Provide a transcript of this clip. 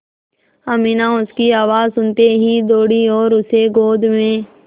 अमीना उसकी आवाज़ सुनते ही दौड़ी और उसे गोद में